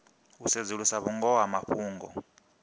u sedzulusa vhungoho ha mafhungo